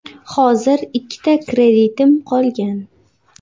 Hozir ikkita kreditim qolgan.